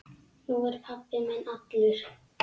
Nú er pabbi minn allur.